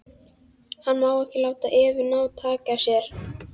Hann má ekki láta Evu ná taki á sér.